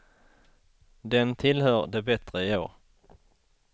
Den tillhör de bättre i år.